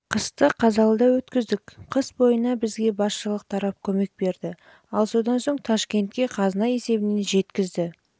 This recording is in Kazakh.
қысты қазалыда өткіздік қыс бойына бізге басшылық тарап көмек берді ал содан соң ташкентке қазына есебінен жеткізді